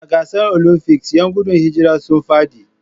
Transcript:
A gasar Olymfics, 'yan gudun hijira sun fadi.